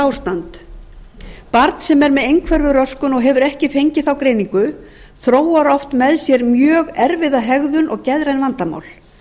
ástand barn sem er með einhverfuröskun og hefur ekki fengið þá greiningu þróar oft með sér mjög erfiða hegðun og geðræn vandamál